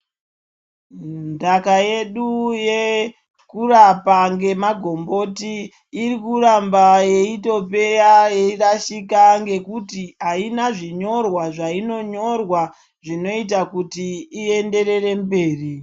Ntaka yedu yekurapa ngemagomboti irikuramba yeitopera, yeitorasika ngekuti aina zvinyorwa zvainonyorwa zvinoita kuti ienderere mberi.